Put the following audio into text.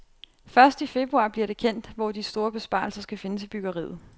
Først i februar bliver det kendt, hvor de store besparelser skal findes i byggeriet.